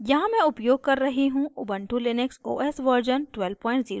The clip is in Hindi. यहाँ मैं उपयोग कर रही हूँ ubuntu लिनक्स os version 1204